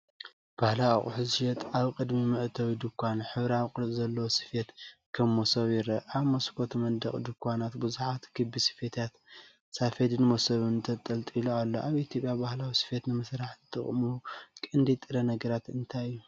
ባህላዊ ኣቑሑት ዝሸይጥ ኣብ ቅድሚ መእተዊ ድኳን፡ ሕብራዊ ቅርጺ ዘለዎ ስፌት (ከም መሶብ) ይርአ። ኣብ መስኮትን መንደቕን ድኳናት ብዙሓት ክቢ ስፌታት (ሳፈድን መሶብን) ተንጠልጠሉ ኣሎ። ኣብ ኢትዮጵያ ባህላዊ ስፌት ንምስራሕ ዝጥቀሙሉ ቀንዲ ጥረ ነገራት እንታይ እዩ?